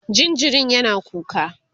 jinjirin yana kuka